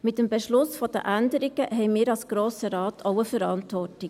Mit dem Beschluss der Änderungen haben wir als Grosser Rat auch eine Verantwortung.